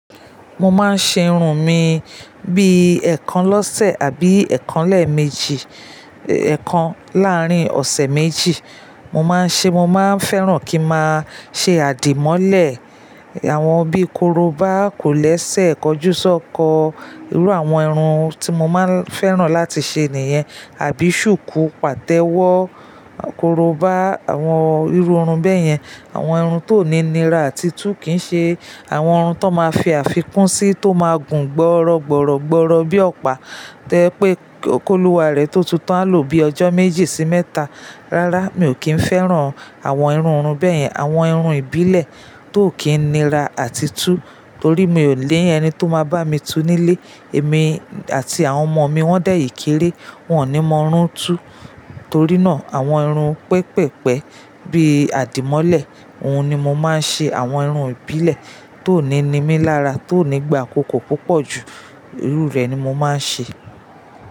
Mo máa ń ṣe irun mi bí ẹ̀ẹ̀kan lọ́sẹ̀ àbí ẹ̀ẹ̀kan lẹ́ẹ̀mejì, ẹ̀ẹ̀kan láàrin ọ̀sẹ̀ méjì. Mo máa ń ṣe, mo máa ń fẹ́ràn kí n máa ṣe àdìmọ́lẹ̀, àwọn bí korobá, kòlẹ́sẹ̀, kọjúsọ́kọ, irú àwọn irun tí mo máa ń fẹ́ràn láti ṣe nìyẹn. Àbí shuku, pàtẹ́wọ́, korobá, àwọn irú irun bẹ́yẹn. Àwọn irun tó ní nira àti tú kì í ṣe àwọn irun tó máa fi àfikún sí, tó máa gùn gbọ́rọ̀gbọ̀rọ̀gbọ̀rọ̀ bí i ọ̀pá to je pé kólúwa rẹ̀ tó tu tan a lo bíi ọjọ́ méjì sí mẹ́ta. Rárá, mi ò kí ń fẹ́ràn àwọn irú irun bẹ́yẹn, àwọn irun ìbílẹ̀ tó kì í nira àti tú torí mi ò ni ẹni tó máa bá mi tú nílé. Èmi àti àwọn ọmọ mi wọ́n dẹ̀ yíkéré, wọn ò ní mọ irun tú. Torí náà, àwọn irun pẹpẹ̀pẹ̀ bí i àdìmọ́lẹ̀, òun ni mo máa ń ṣe. Àwọn irun ìbílẹ̀ tó ní nímí lára, tó ní gba àkókò púpọ̀ ju irú rẹ̀ ni mo máa ń ṣe.